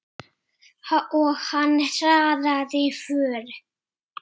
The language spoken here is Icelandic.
Og hann hraðaði för.